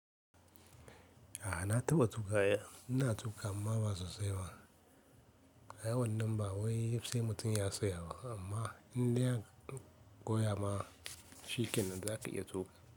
A'a na taɓa tuƙa. Ina tuƙa amma ba sosai ba. Ai wannan nan ba wai sai mutum ya saya ba amma in dai aka koya ma, shi kenan za ka iya tuƙa.